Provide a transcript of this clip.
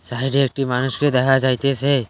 ভাইরে একটি মানুষকে দেখা যাইতেছে।